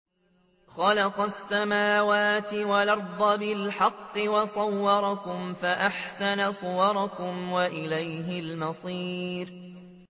خَلَقَ السَّمَاوَاتِ وَالْأَرْضَ بِالْحَقِّ وَصَوَّرَكُمْ فَأَحْسَنَ صُوَرَكُمْ ۖ وَإِلَيْهِ الْمَصِيرُ